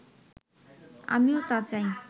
আমিও তা চাই